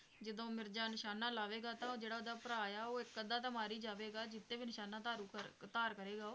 ਜਦੋਂ ਮਿਰਜ਼ਾ ਨਿਸ਼ਾਨਾ ਲਾਵੇਗਾ ਤਾਂ ਜਿਹੜਾ ਉਹਦਾ ਭਰਾ ਆ ਉਹ ਇੱਕ ਅੱਧਾ ਤਾਂ ਮਰ ਹੀ ਜਾਵੇਗਾ, ਜਿਸਤੇ ਵੀ ਨਿਸ਼ਾਨਾ ਧਾਰੂ ਕਰ, ਧਾਰ ਕਰੇਗਾ ਉਹ,